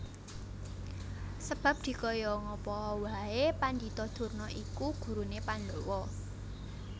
Sebab dikaya ngapaa wae Pandhita Durna iku gurune Pandhawa